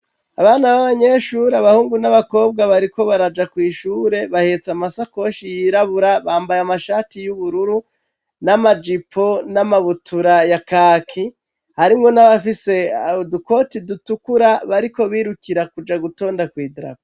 Abana b'abanyeshuri abahungu n'abakobwa bariko baraja kw' ishure, bahetse amasakoshi y'irabura, bambaye amashati y'ubururu n'amajipo n'amabutura ya kaki, hariho n'abafise udukoti dutukura bariko birukira kuja gutonda kw' idarapo.